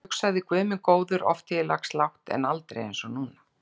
Ég hugsaði: Guð minn góður, oft hef ég lagst lágt, en aldrei eins og núna.